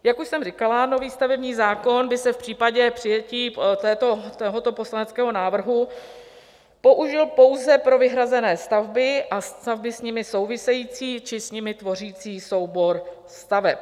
Jak už jsem říkala, nový stavební zákon by se v případě přijetí tohoto poslaneckého návrhu použil pouze pro vyhrazené stavby a stavby s nimi související či s nimi tvořící soubor staveb.